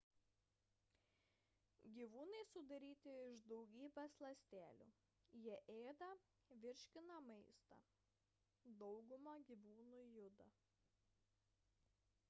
gyvūnai sudaryti iš daugybės ląstelių jie ėda ir virškina maistą dauguma gyvūnų juda